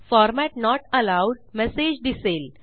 format not allowed message दिसेल